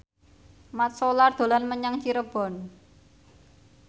Mat Solar dolan menyang Cirebon